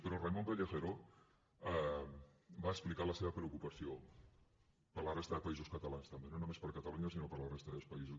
però raimon pelegero va explicar la seva preocupació per la resta de països catalans també no només per catalunya sinó per la resta de països